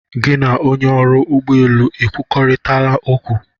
Gị na onye ọrụ ụgbọ elu ekwurịtala okwu?